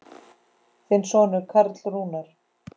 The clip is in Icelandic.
Þinn sonur Karl Rúnar.